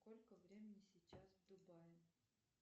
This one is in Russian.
сколько времени сейчас в дубае